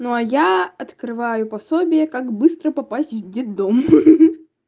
но я открываю пособие как быстро попасть в детдом ха-ха-ха